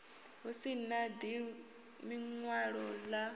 hu si na ḽiṅwalo ḽa